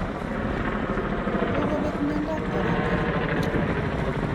Kokopek miandap korona.